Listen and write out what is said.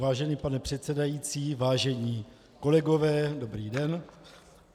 Vážený pane předsedající, vážení kolegové, dobrý den.